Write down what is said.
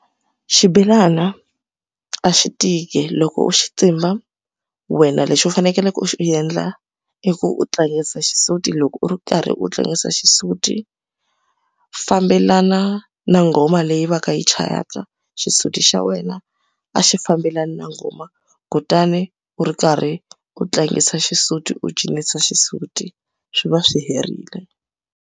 Xibelana a xi tiki loko u xi tsimba wena lexi u faneleke u xi endla i ku u tlangisa xisuti loko u ri karhi u tlangisa xisuti fambelana na nghoma leyi va ka yi chayaka xisuti xa wena a xi fambelani na nghoma kutani u ri karhi u tlangisa xisuti u cinisa xisuti swi va swi herile.